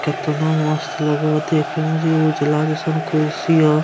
केतना मस्त लगो हो देखे म जे उजला जैसन कुर्सी हो।